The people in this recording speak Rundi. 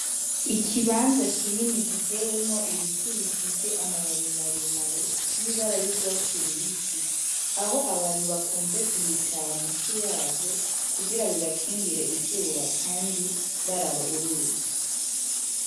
Ikibanza kini giteyemwo ibiti bifise amababi maremare asa n'urwatsi rubisi, ah'abantu bakunze kwicara musi yavyo bibakingir'izuba kandi nihafi y'uruzi.